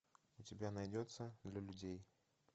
у тебя найдется для людей